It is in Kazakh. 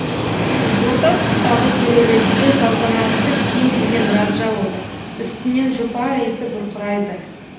орта тұстағы кереуетте салтанатты киім киген раджа отыр үстінен жұпар иісі бұрқырайды